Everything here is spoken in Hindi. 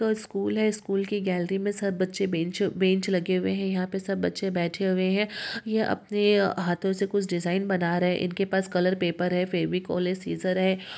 स्कूल है स्कूल की गेली मे सब बच्चे बेंच-बेंच लगे हुए है यहा पे सब बच्चे बेठ हुए है यह अपने हाथों से कुछ डिज़ाइन बना रहे है इनके पास कलरपेपर है फेविकोल है सीजर है।